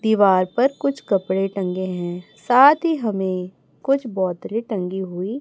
दीवार पर कुछ कपड़े टंगे हैं साथ ही हमें कुछ पौधे टंगी हुई--